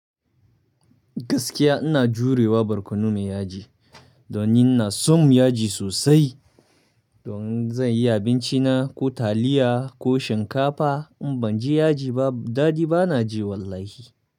Gaskiya ina jurewa barkono mai yaji. Donni inason yaji sosai. Don zan yi abinci na ko taliya ko shinkafa in ban ji yaji ba dadi bana ji wallahi.